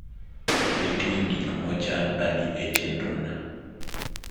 nitie gik mo chan adi e chenrona